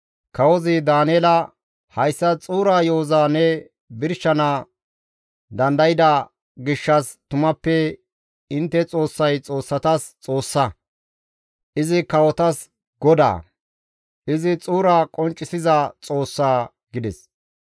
Kawozi Daaneela, «Hayssa xuura yo7oza ne birshana dandayda gishshas tumappe intte Xoossay xoossatas Xoossa; izi kawotas Goda; izi xuura qonccisiza Xoossa» gides.